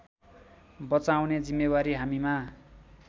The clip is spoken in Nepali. बचाउने जिम्मेवारी हामीमा